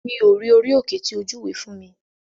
Mi ò rí orí òkè tí o júwe fún mi.